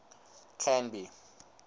canby